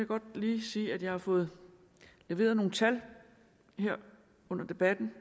godt lige sige at jeg har fået leveret nogle tal her under debatten